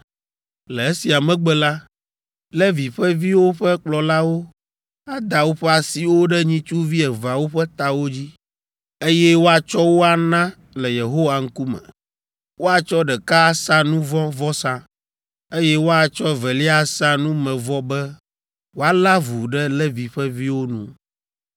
“Le esia megbe la, Levi ƒe viwo ƒe kplɔlawo ada woƒe asiwo ɖe nyitsuvi eveawo ƒe tawo dzi, eye woatsɔ wo ana le Yehowa ŋkume. Woatsɔ ɖeka asa nu vɔ̃ vɔsa, eye woatsɔ evelia asa numevɔ be woalé avu ɖe Levi ƒe viwo nu.